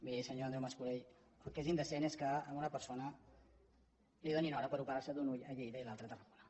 miri senyor andreu mascolell el que és indecent és que a una persona li donin hora per operar se d’un ull a lleida i l’altre a tarragona